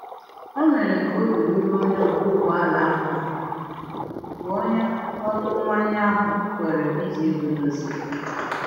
O mere ka obi ruru onye ọkwa ụgbọ ala ahụ ala mgbe onye ọrụ mmanye ahụ kwere iji ego dozie